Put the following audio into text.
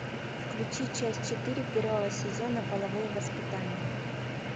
включи часть четыре первого сезона половое воспитание